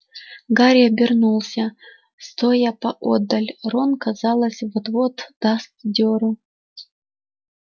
гарри обернулся стоя поодаль рон казалось вот-вот даст дёру